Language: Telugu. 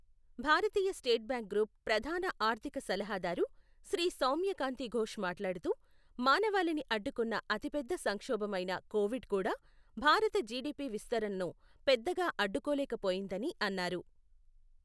భారతీయ స్టేట్ బాంక్ గ్రూప్ ప్రధాన ఆర్థిక సలహాదారు శ్రీ సౌమ్యకాంతి ఘోష్ మాట్లాడుతూ, మానవాళిని అడ్డుకున్న అతిపెద్ద సంక్షోభమైన కోవిడ్ కూడా, భారత జీడీపీ విస్తరణను పెద్దగా అడ్డుకోలేకపోయిందని, అన్నారు.